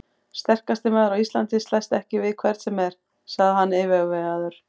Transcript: Sterkasti maður á Íslandi slæst ekki við hvern sem er, sagði hann yfirvegaður.